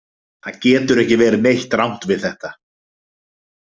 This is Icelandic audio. Það getur ekki verið neitt rangt við þetta.